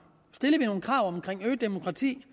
stillede vi nogen krav om øget demokrati